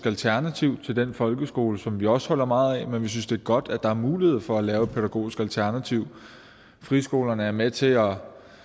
alternativ til den folkeskole som vi også holder meget af men vi synes det er godt at der er mulighed for at lave et pædagogisk alternativ friskolerne er med til at